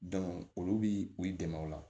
olu bi u dɛmɛ o la